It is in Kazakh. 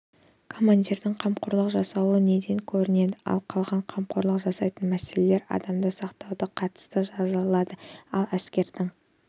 командирдің қамқорлық жасауы неден көрінеді ал қалған қамқорлық жасайтын мәселелер адамдарды сақтауға қатысты жасалынады ал әскердің